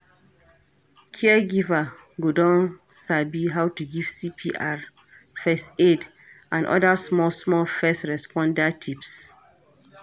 Caregiver go don sabi how to give CPR, first aid and oda small small first responder tips